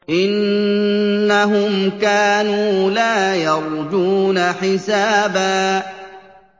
إِنَّهُمْ كَانُوا لَا يَرْجُونَ حِسَابًا